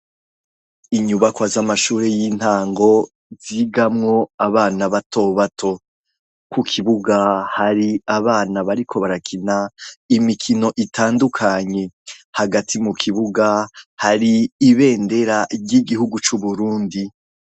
Inyubakwa z'amashure y'intango, zigamwo abana batobato. Ku kibuga hari abana bariko barakina imikino itandukanye. Hagati mu kibuga hari ibendera ry'igihugu c'Uburundi.